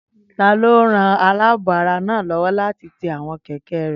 Taló ran alaabo ara náà lówó láti ti àwọn kẹ̀kẹ́ rẹ?